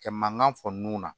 Kɛ mankan fɔ nun na